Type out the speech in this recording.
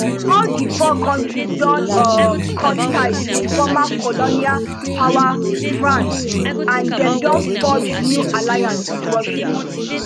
all di four kontris don um cut ties wit former colonial power france and dem don forge new alliances wit russia